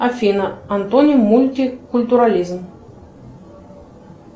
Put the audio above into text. афина антоним мультикультурализм